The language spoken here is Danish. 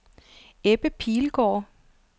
Ebbe Pilgaard